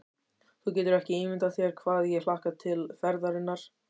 Þú getur ekki ímyndað þér hvað ég hlakka til ferðarinnar.